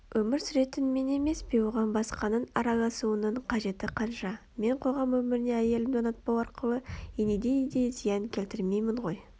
Өмір сүретін мен емес пе оған басқаның араласуының қажеті қанша мен қоғам өміріне әйелімді ұнатпау арқылы инедей де зиян келтірмеймін ғой